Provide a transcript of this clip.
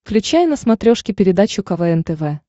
включай на смотрешке передачу квн тв